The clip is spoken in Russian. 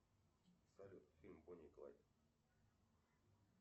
салют фильм бони и клайд